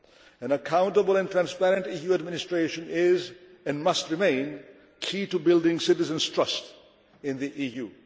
An accountable and transparent EU administration is, and must remain, key to building citizens' trust in the